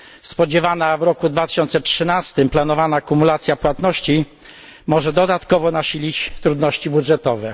Spodziewana w roku 2013 planowana kumulacja płatności może dodatkowo nasilić trudności budżetowe.